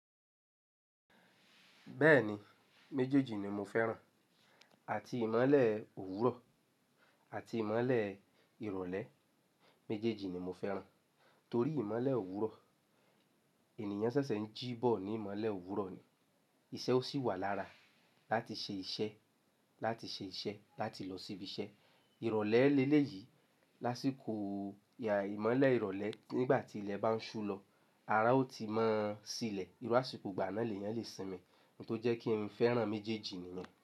Bẹ́ẹ̀ni, méjèèjì ni mo fẹ́ràn. Àti ìmọ́lẹ̀ òwúrọ̀ àti ìmọ́lẹ̀ ìrọ̀lẹ́. Méjèèjì ni mo fẹ́ràn torí ìmọ́lẹ̀ òwúrọ̀ ènìyàn ṣẹ̀ṣẹ̀ ń jí bọ̀ ní ìmọ́lẹ̀ òwúrọ̀ ni. Iṣẹ́ ó sì wà lára láti ṣe iṣẹ́, láti ṣe iṣẹ́, láti lọ síbi iṣẹ́. Ìrọ̀lẹ́ lélẹ̀ yìí lásìkò ìyà ìmọ́lẹ̀ ìrọ̀lẹ́ nígbà tí ilẹ̀ bá ń ṣú lọ, ara ó ti máa sílẹ̀. Irú àsìkò ìgbà náà ènìyàn lè sinmi. Innkan tó jẹ́ kí n fẹ́ràn méjèèjì nìyẹn.